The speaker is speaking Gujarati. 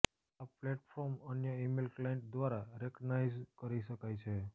આ ફોર્મેટ અન્ય ઈમેલ ક્લાઈન્ટ દ્વારા રેકગ્નાઈઝ કરી શકાય છે